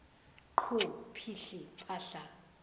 qhu phihli phahla